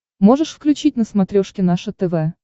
можешь включить на смотрешке наше тв